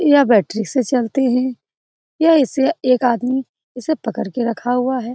यह बैटरी से चलते हैं यह इसे एक आदमी इसे पकड़ के रखा हुआ है।